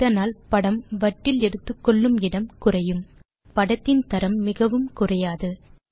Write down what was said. இதனால் படம் வட்டில் எடுத்துக்கொள்ளும் இடம் குறையும் அதே சமயம் படத்தின் தரம் மிகவும் குறையக்கூடாது